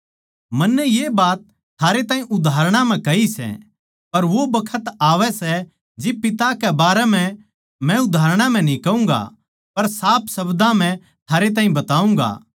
मन्नै ये बात थारैताहीं उदाहरणां म्ह कही सै पर वो बखत आवै सै जिब पिता के बारें म्ह मै उदाहरणां म्ह न्ही कहूँगा पर साफ शब्दां म्ह थारे ताहीं बताऊँगा